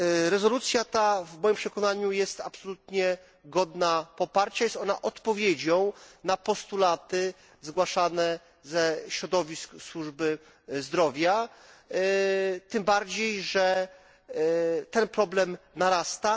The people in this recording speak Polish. Rezolucja ta, w moim przekonaniu, jest absolutnie godna poparcia, jest ona odpowiedzią na postulaty zgłaszane ze środowisk służby zdrowia, tym bardziej, że ten problem narasta.